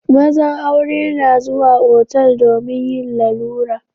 Mazan aure na zuwa otal domin yin lalura.